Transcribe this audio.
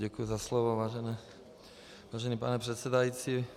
Děkuji za slovo, vážený pane předsedající.